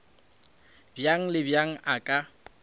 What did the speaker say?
bjang le bjang a ka